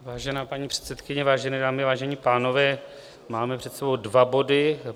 Vážená paní předsedkyně, vážené dámy, vážení pánové, máme před sebou dva body.